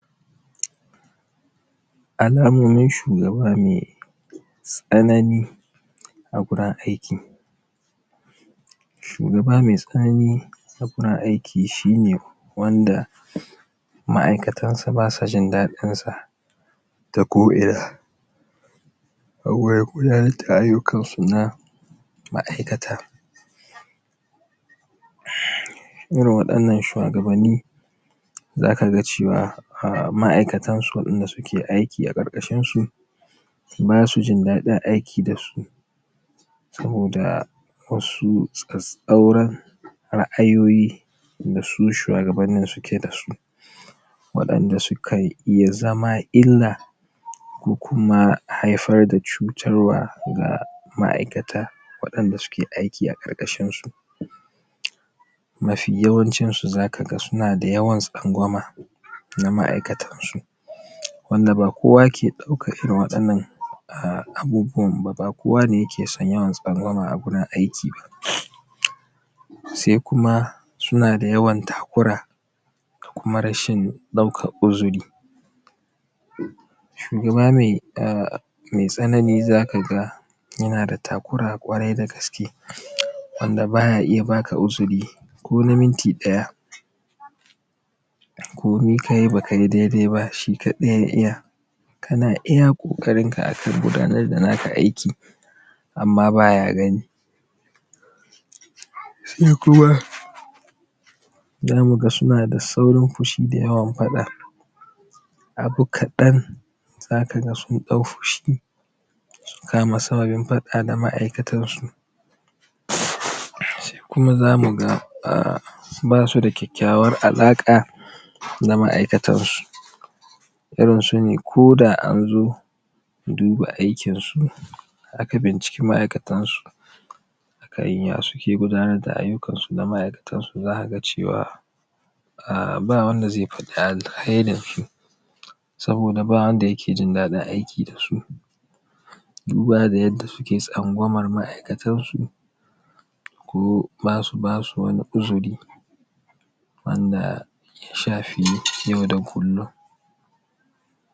Alamomin shugaba mai tsanani a wurin aiki shugaba mai tsanani a wurin aiki shine wanda ma’aikatan sa basa jin daɗin sa ta ko ina a wurin gudanar da aikinsu na ma'aikata irin waɗannan shawagabanni zaka ga cewa ma’aikatan su waɗanda suke aiki a ƙarƙashin su masu jin daɗin aiki dasu saboda wasu tsatstsauran ra’ayoyi dasu shugabannin suke dasu waɗanda su kai iya zama illa kokuma haifar da cutarwa ga ma’aikata waɗanda suke aiki a ƙarƙashin su mafi yawancin su zaka ga suna da yawan tsangwama na ma’aikatan su wanda ba kowa ke ɗaukan irin waɗannan abubuwan ba, ba kowa ke son yawan tsangwama a wurin aiki ba sai kuma suna da yawan takura da kuma rashin ɗaukan uzuri shugaban mai tsanani zaka yana da takura kwarai da gaske wanda baya iya baka uzuri kona minti ɗaya komi kayi ba kayi daidai ba shi kaɗai ya iya kana iya kokarinka akan gudanar da naka aiki amma baya gani sai kuma zama ga suna da saurin fushi da yawan faɗa abu kaɗan zaka ga sun ɗau fushi sai kuma zamu ga basu da kyakkyawar alaƙa da ma’aikatan su irin sune koda an zo duba aikin su aka binciki ma’aikatan su akan iya suke gudanar da aikinsu su da ma’aikatan su zaka ga cewa ba wanda zai faɗi alheri su saboda ba wanda yake jin daɗin aiki da su duba da yadda suke tsangwama ma’aikatan su ko basu basu wani uzuri wanda ya shafi yau da kullin.